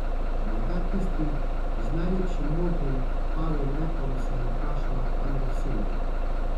Morda tisti z najlepšim modrim pavjim repom, se je vprašala Andersenova.